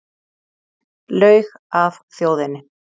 Laug að þjóðinni